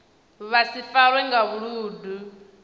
vha si farwe nga vhuludu